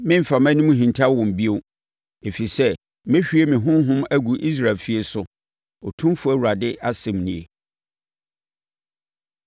Meremfa mʼanim nhinta wɔn bio, ɛfiri sɛ mɛhwie me Honhom agu Israel efie so, Otumfoɔ Awurade asɛm nie.”